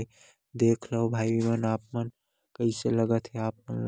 देख लव भाई मन आप मन कैस लगत हे आप मन ल--